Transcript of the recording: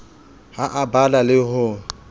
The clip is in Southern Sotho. ha a bala le ho